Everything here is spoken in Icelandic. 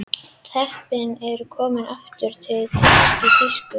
Teppin eru komin aftur í tísku